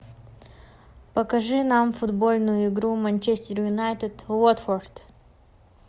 покажи нам футбольную игру манчестер юнайтед уотфорд